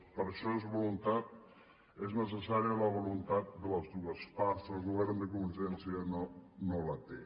per a això és necessària la voluntat de les dues parts i el govern de convergència no la té